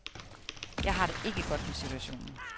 Jeg har det ikke godt med situationen.